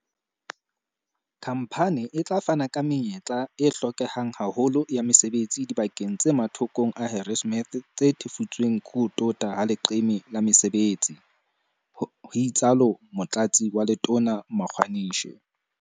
"Khamphane e tla fana ka menyetla e hlokehang haholo ya mesebetsi dibakeng tse mathokong a Harrismith tse thefutsweng ke ho tota ha leqeme la mesebetsi," ho itsalo Motlatsi wa Letona Magwa nishe.